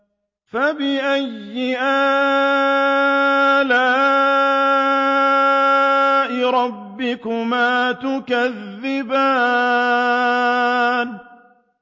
فَبِأَيِّ آلَاءِ رَبِّكُمَا تُكَذِّبَانِ